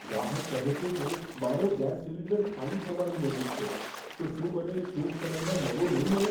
ગ્રાહક કહે છે કે, મારો ગેસ સિલિન્ડર ખાલી થવાની નજીક છે. તો શું મને ટૂંક સમયમાં નવો નહીં મળે?